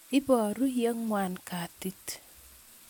Iparu ye ng'wan katit